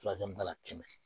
ba kɛmɛ